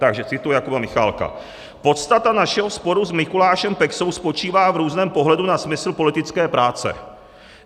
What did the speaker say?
Takže cituji Jakuba Michálka: "Podstata našeho sporu s Mikulášem Peksou spočívá v různém pohledu na smysl politické práce.